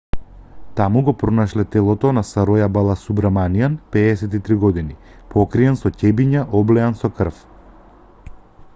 таму го пронашле телото на сароја баласубраманиан 53 години покриен со ќебиња облеани со крв